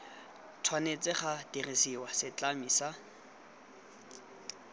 tshwanetse ga dirisiwa setlami sa